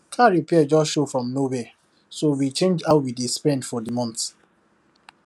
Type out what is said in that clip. car repair just show from nowhere so we change how we dey spend for the month